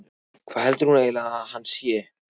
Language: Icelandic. Hvað heldur hún eiginlega að hann sé!